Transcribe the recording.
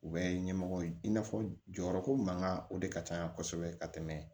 U bɛ ɲɛmɔgɔ ye i n'a fɔ jɔyɔrɔko mankan o de ka ca kosɛbɛ ka tɛmɛ